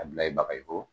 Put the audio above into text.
A bila i baga i ko